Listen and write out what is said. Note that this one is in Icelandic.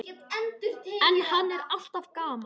En hann er alltaf gamall.